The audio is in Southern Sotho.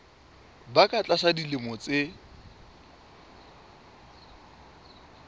ba ka tlasa dilemo tse